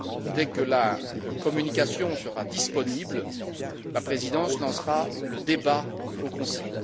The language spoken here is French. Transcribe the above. Dès que la communication sera disponible, la Présidence lancera le débat au Conseil.